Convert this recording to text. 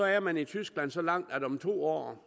er man i tyskland så langt at om to år